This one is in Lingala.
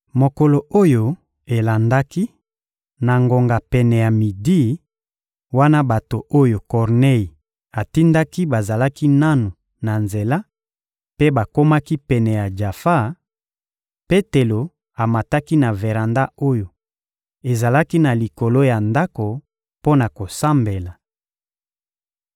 Mokolo oyo elandaki, na ngonga pene ya midi, wana bato oyo Kornei atindaki bazalaki nanu na nzela mpe bakomaki pene ya Jafa, Petelo amataki na veranda oyo ezalaki na likolo ya ndako mpo na kosambela.